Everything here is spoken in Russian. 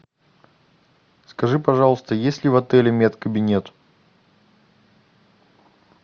скажи пожалуйста есть ли в отеле мед кабинет